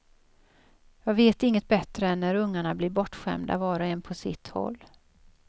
Jag vet inget bättre än när ungarna blir bortskämda var och en på sitt håll.